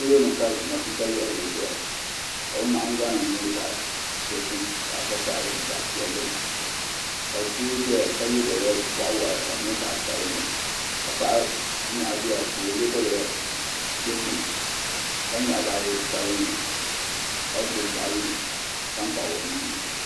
Polo ni ka matuuka yiɣirigu zaya ka o nahingbana nyɛ zaɣi dozim vakahili ni zaɣi piɛlli ka doo zɛya ka ye daliya bɔɣu wɔɣila ka di nyɛ zaɣi sabinli ka paɣa nyɛɣi bia ka o ye daliya dozim ka yɛɣi baaji sabinli ka gbubi baaji tankpaɣu o nuu ni.